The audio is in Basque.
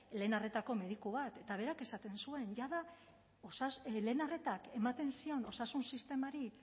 lehen arretako mediku bat eta berak esaten zuen jada lehen arretak ematen zion osasun sistemari